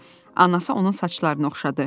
Anası onun saçlarını oxşadı.